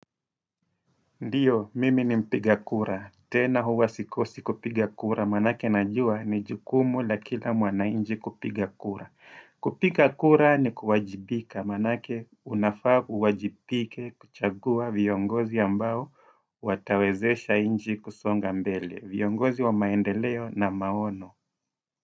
Ndiyo, mimi ni mpiga kura. Tena huwa sikosi kupiga kura. Maanake najua ni jukumu la kila mwananchi kupiga kura. Kupiga kura ni kuwajibika. Maanake unafaa uwajibike kuchagua viongozi ambao watawezesha nchi kusonga mbele. Viongozi wa maendeleo na maono.